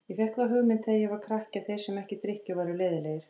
Ég fékk þá hugmynd þegar ég var krakki að þeir sem ekki drykkju væru leiðinlegir.